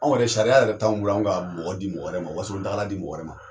Anw yɛrɛ sariya yɛrɛ t'anw bolo an' ka mɔgɔ di mɔgɔ wɛrɛ ma, Wasolon tagala di mɔgɔ wɛrɛ ma.